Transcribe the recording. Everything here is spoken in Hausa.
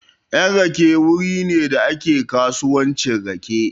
Yan rake wuri ne da ake kasuwancin rake.